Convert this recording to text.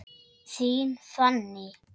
Þín Fanný.